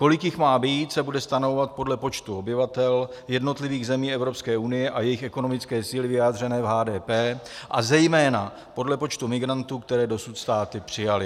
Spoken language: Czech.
Kolik jich má být, se bude stanovovat podle počtu obyvatel jednotlivých zemí Evropské unie a jejich ekonomické síly vyjádřené v HDP a zejména podle počtu migrantů, které dosud státy přijaly.